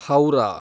Howrah